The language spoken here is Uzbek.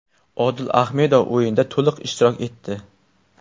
Odil Ahmedov o‘yinda to‘liq ishtirok etdi.